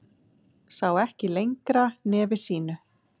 Sá ekki lengra nefi sínu.